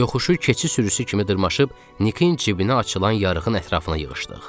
Yoxuşu keçi sürüsü kimi dırmışıb Nikinin cibinə açılan yarığın ətrafına yığışdıq.